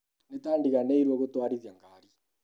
Nĩtandiganĩirwo nĩ gũtwarithia ngari